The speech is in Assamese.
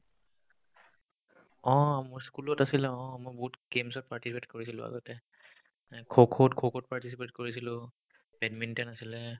অ মোৰ school ত আছিলে অ মই বহুত game ত participate কৰিছিলো আগতে এই খোখোত খোখোত participate কৰিছিলো বেডমিনটন আছিলে